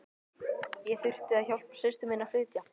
Ég þurfti að hjálpa systur minni að flytja.